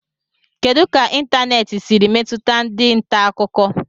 Kedu ka ịntanètị siri metụta ndị nta akụkọ